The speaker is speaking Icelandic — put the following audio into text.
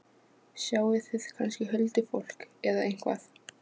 Sjáið þið kannski huldufólk- eða eitthvað?